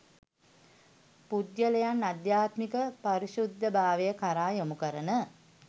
පුද්ගලයන් අධ්‍යාත්මික පාරිශුද්ධ භාවය කරා යොමුකරන